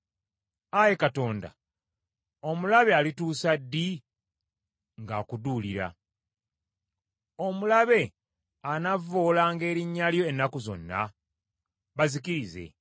Ayi Katonda, omulabe alituusa ddi ng’akuduulira? Omulabe anavvoolanga erinnya lyo ennaku zonna? Bazikirize.